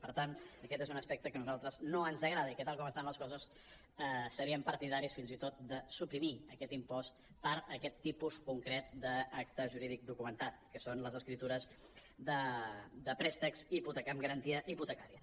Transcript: per tant aquest és un aspecte que a nosaltres no ens agrada i que tal com estan les coses seríem partidaris fins i tot de suprimir aquest impost per a aquest tipus concret d’acte jurídic documentat que són les escriptures de préstecs amb garantia hipotecària